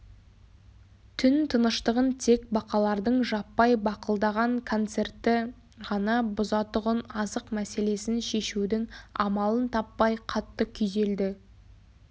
түн тыныштығын тек бақалардың жаппай бақылдаған концерті ғана бұзатұғын азық мәселесін шешудің амалын таппай қатты күйзелді